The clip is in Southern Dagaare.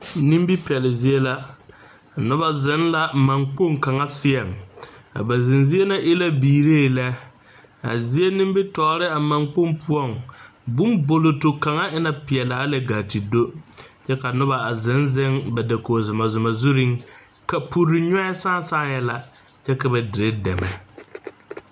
Nimipɛlle zie la noba zeŋ la mankpoŋ kaŋa seɛŋ a ba zeŋ zie na e la biiree lɛ a zie nimitɔɔre a mankpoŋ poɔŋ bonboloto kaŋ e la pelaa gaa te kyɛ ka noba a zeŋ zeŋ ba dakogi zumazuma zureŋ kapuro nyɔɛ saa saaɛ la kyɛ ka ba dire dɛmɛ.